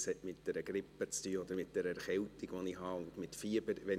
dies hat mit einer Erkältung mit Fieber zu tun.